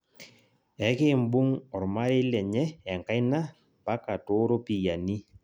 Ekimbung' ormarei lenye enkaina mpaka tooropiyiani